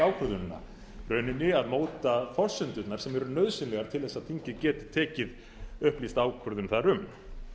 ákvörðunina í rauninni að móta forsendurnar sem eru nauðsynlegar til þess að þingið geti tekið upplýsta ákvörðun þar um